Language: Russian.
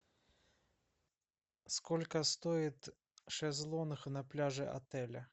сколько стоит шезлонг на пляже отеля